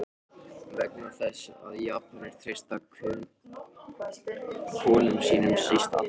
Vegna þess, að Japanir treysta Könum síst allra þjóða!